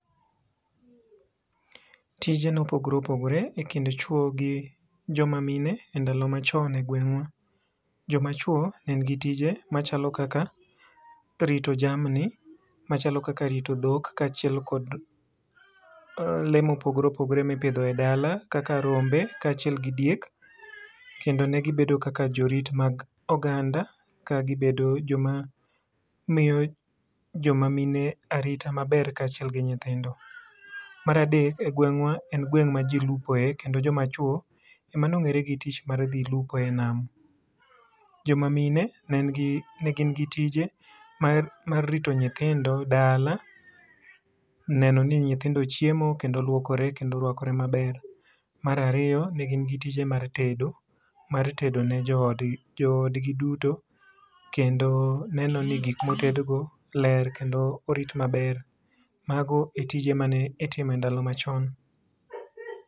Tije ne opogore opogore e kind chwo gi jo ma mine e ndalo ma chon e gweng'wa. Jo ma chwo ne gi tije kaka rito jamni ma chalo kaka rito dhok, kaachiel kod lee mo opogoe opogore mi ipidjho e dala kaka rombe kaachiel gi diek kendo ne gi bedo kaka jo rit mag oganda ka gi bedo jo ma miyo jo ma mine arita kaachiel gi nyithindo.E gwengwa en gweng ma ji lupo e kendo jo ma chwo ema ne ong'ere gi tich mar dhi lupo e nam. Jo ma mine ne ni gi ne gin gi tije mag rito nyithindo dala, neno ni nyithindo ochiemo, kendo oluokore kendo orwakore ma ber. Mar ariyo ne gin gi tije mag tedo, mar tedo ne jo od jo od gi duto kendo neno ni gik ma oted go ler kendo orit ma ber. Ma go e tije ma ne itimo ndalo ma chon